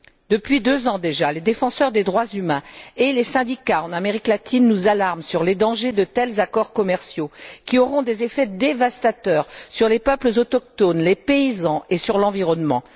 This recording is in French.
Depuis deux ans déjà, les défenseurs des droits humains et les syndicats en Amérique latine nous alarment sur les dangers de tels accords commerciaux, qui auront des effets dévastateurs sur les peuples autochtones, les paysans et sur l'environnement.